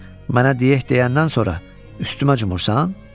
Mənə diyək deyəndən sonra üstümə cumursan?